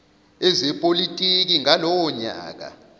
ezepolitiki ngalowo nyaka